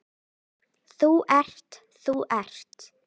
Þú ert, þú ert.